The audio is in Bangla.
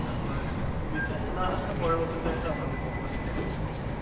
তারপরে না হলে বিশেষ না হলে তো পরবর্তী লাইন এ ভালো কোম্পানিতে ঢুকবো,